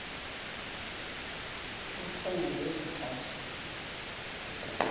kuthe ngeli xesha